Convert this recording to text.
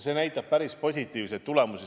See näitas päris positiivseid tulemusi.